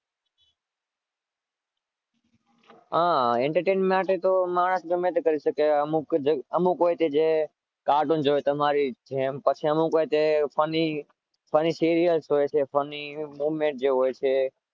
હાં entertainment માટે તો માણસ ગમે તે કરી શકે છે. અમુક Just અમુક હોય છે જે કાર્ટૂન જુવે તમારી જેમ પછી અમુક હોય તે funny સિરિયલ હોય છે funny moment જે હોય છે.